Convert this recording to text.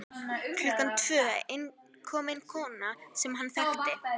Klukkan tvö kom inn kona sem hann þekkti.